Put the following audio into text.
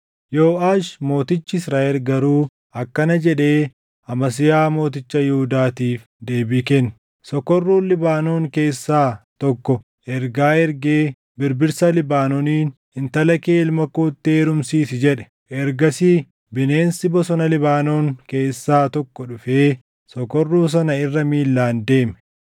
Yooʼaash mootichi Israaʼel garuu akkana jedhee Amasiyaa mooticha Yihuudaatiif deebii kenne; “Sokorruun Libaanoon keessaa tokko ergaa ergee birbirsaa Libaanooniin, ‘Intala kee ilma kootti heerumsiisi’ jedhe. Ergasii bineensi bosona Libaanoon keessaa tokko dhufee sokorruu sana irra miilaan deeme.